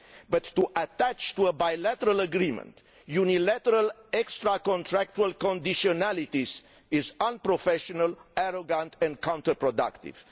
But to attach to a bilateral agreement unilateral extracontractual conditionalities is unprofessional, arrogant and counterproductive.